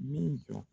Min jɔ